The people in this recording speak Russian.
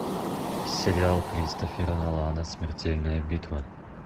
сериал кристофера нолана смертельная битва